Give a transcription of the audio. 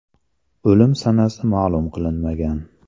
O‘lim sanasi ma’lum qilinmagan.